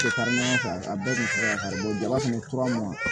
a bɛɛ tun b'a kan jaba fana tora n ma